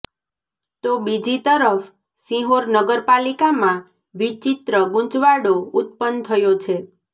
તો બીજી તરફ શિહોર નગરપાલિકામાં વિચિત્ર ગુંચવાડો ઉત્પન્ન થયો છે